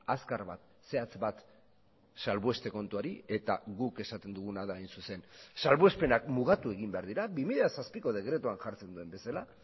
azkar bat zehatz bat salbueste kontuari eta guk esaten duguna da hain zuzen salbuespenak mugatu egin behar dira bi mila zazpiko dekretuan jartzen duen bezala